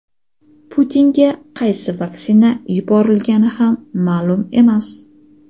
Putinga qaysi vaksina yuborilgani ham ma’lum emas.